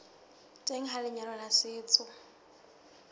teng ha lenyalo la setso